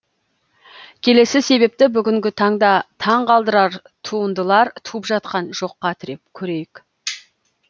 келесі себепті бүгінгі таңда таңқалдырар туындалар туып жатқан жоққа тіреп көрейік